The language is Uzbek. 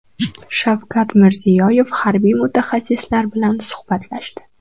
Shavkat Mirziyoyev harbiy mutaxassislar bilan suhbatlashdi.